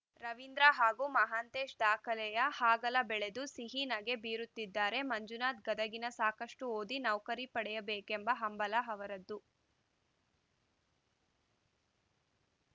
ರವಿಂದ್ರ ಹಾಗೂ ಮಹಾಂತೇಶ ದಾಖಲೆಯ ಹಾಗಲ ಬೆಳೆದು ಸಿಹಿ ನಗೆ ಬೀರುತ್ತಿದ್ದಾರೆ ಮಂಜುನಾಥ ಗದಗಿನ ಸಾಕಷ್ಟುಓದಿ ನೌಕರಿ ಪಡೆಯಬೇಕೆಂಬ ಹಂಬಲ ಹವರದ್ದು